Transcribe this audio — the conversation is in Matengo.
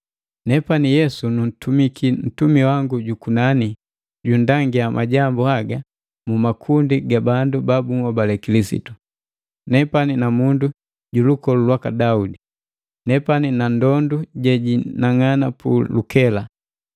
“Nepani Yesu nuntumiki ntumi wangu jukunani junndangia majambu haga mu makundi ga bandu babunhobale Kilisitu. Nepani namundu ju lukolu lwaka Daudi. Nepani na ndondu jejinang'ana pu lukela!”